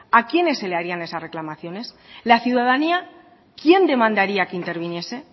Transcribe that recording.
a quién se les haría esas reclamaciones la ciudadanía quién demandaría que interviniese